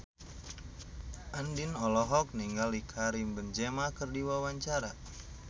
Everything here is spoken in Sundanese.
Andien olohok ningali Karim Benzema keur diwawancara